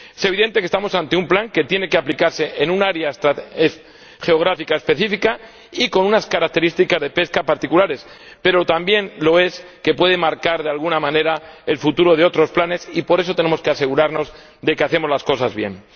Es evidente que estamos ante un plan que tiene que aplicarse en un área geográfica específica y con unas características de pesca particulares, pero también que puede marcar de alguna manera el futuro de otros planes, y, por eso, tenemos que asegurarnos de que hacemos las cosas bien.